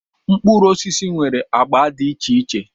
Mkpụrụ osisi nwere agba dị iche iche.